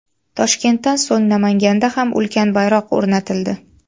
Toshkentdan so‘ng Namanganda ham ulkan bayroq o‘rnatildi.